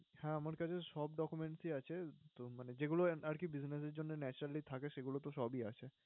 হ্যাঁ, আমার কাছে সব documents আছে তো মানে যেগুলো আরকি business এর জন্য naturally থাকে সেগুলো তো সবই আছে।